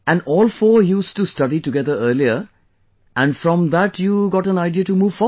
And all four used to study together earlier and from that you got an idea to move forward